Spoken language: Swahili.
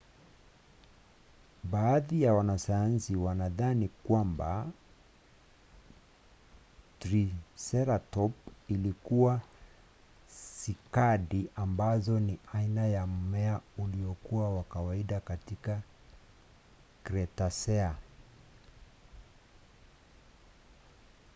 baadhi ya wanasayansi wanadhani kwamba triseratopu walikula sikadi ambazo ni aina ya mmea uliokuwa wa kawaida katika kretasea